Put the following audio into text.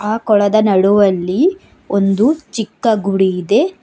ಆ ಕೊಳದ ನಡುವಲ್ಲಿ ಒಂದು ಚಿಕ್ಕ ಗುಡಿ ಇದೆ.